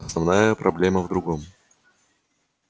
основная проблема в другом